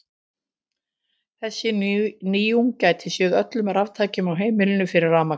Þessi nýjung gæti séð öllum raftækjum á einu heimili fyrir rafmagni.